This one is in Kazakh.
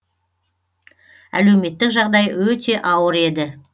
әлеуметтік жағдай өте ауыр еді